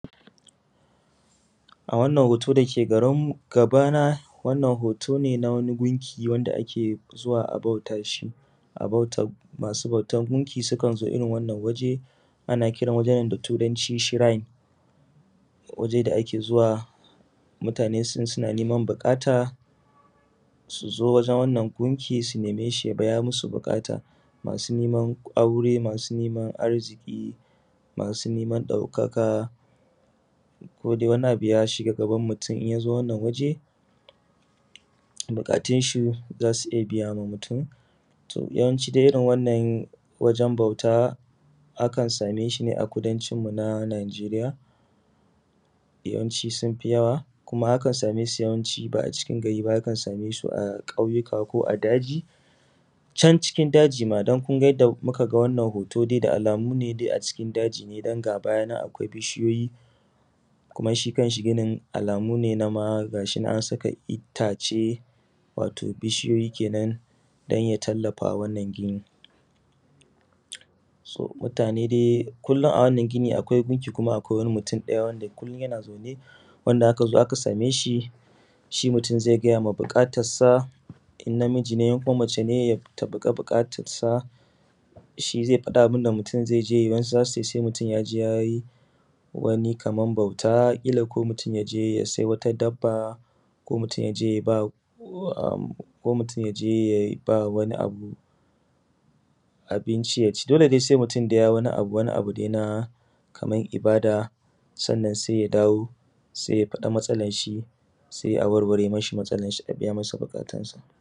A wannan hoto dake gabana wannan hoto ne na wani gunki wanda ake zuwa a bauta mashi. Masu bautan gunki sukan zo wannan guri ana kiran wajen da turanci shurin. Waje da ake zuwa mutane suna neman buƙata suzo wajen wannan gunki su nemeshi ya biya musu buƙata masu neman aure masu neman arziƙi masu neman ɗaukakain wani abu ya shiga gaban mutun yazo wannan waje buƙatunshi zasu iyya biya. To yawanci dai irrin wannan wajen bauta ana samun shine a kudancin mu na najeriya yawanci sunfi yawa kuma kan same sune ba’a cikin gari akan samesu kauyuka ko a daji can cikin dagi ma dan kunga yanda muka ga wannan hoto dai da alamu dai a cikin dagi ne danga mayinan akwai bishiyoyi kuma shi kanshi ginin alamu ne na gayinan an saka ittace bishiyoyi kenan danya tallafawa wannan gini. Su mutane ne kullum a wannan ginin akwai biki kuma akwai mutun ɗaya wanda kullum yana zaune wanda akazo aka sameshi shi mutun zai gayama buƙatansa in namiji ne ko mace ce ta faɗi buƙatar sa faɗi abunda mutun zaiyi wasu zasu cesai mutun kila ko mutun yaje yasai wata dabba ko mutun yaje yaba wani abu abinci yaci dole dai sai mutun yayi wani abudai na kaman ibada ya dawo saiya faɗi matsalan shi sai awarware mishi matsalanshi abiya mishi buƙatunshi gabaki ɗaya.